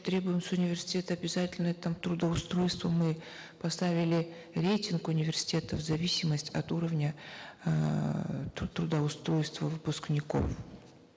требуем с университета обязательное там трудоустройство мы поставили рейтинг университетов в зависимость от уровня эээ трудоустройства выпускников